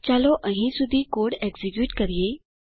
ચાલો અહીં સુધી કોડ એક્ઝીક્યુટ કરીએ